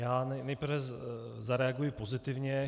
Já nejprve zareaguji pozitivně.